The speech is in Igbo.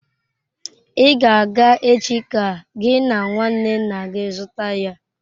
I ga-aga echi ka gị na nwanne nna gị zụta ya!